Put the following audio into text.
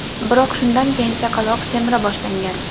Biroq shundan keyin chaqaloq semira boshlangan.